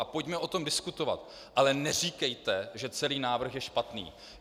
A pojďme o tom diskutovat, ale neříkejte, že celý návrh je špatný.